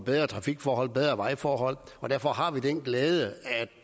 bedre trafikforhold bedre vejforhold og derfor har vi den glæde at